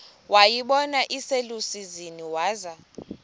wayibona iselusizini waza